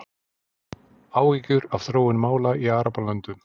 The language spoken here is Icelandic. Áhyggjur af þróun mála í Arabalöndum